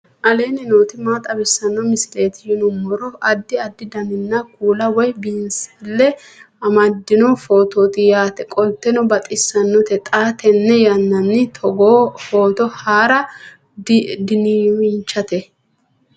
aleenni nooti maa xawisanno misileeti yinummoro addi addi dananna kuula woy biinsille amaddino footooti yaate qoltenno baxissannote xa tenne yannanni togoo footo haara danvchate